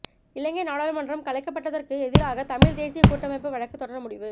இலங்கை நாடாளுமன்றம் கலைக்கப்பட்டதற்கு எதிராக தமிழ் தேசிய கூட்டமைப்பு வழக்கு தொடர முடிவு